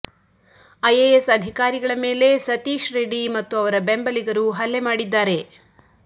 IAS ಅಧಿಕಾರಿಗಳ ಮೇಲೆ ಸತೀಶ್ ರೆಡ್ಡಿ ಮತ್ತು ಅವರ ಬೆಂಬಲಿಗರು ಹಲ್ಲೆ ಮಾಡಿದ್ದಾರೆ